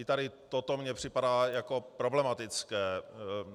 I tady toto mně připadá jako problematické.